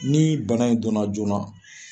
Ni bana in don na joona.